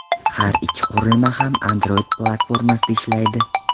Har ikki qurilma ham Android platformasida ishlaydi.